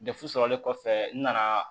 Depu sɔrɔlen kɔfɛ n nana